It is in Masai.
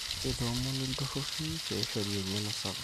keitoomoni ill`turruri peishoru engeno sapuk